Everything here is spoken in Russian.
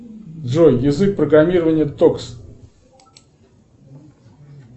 джой язык программирования токс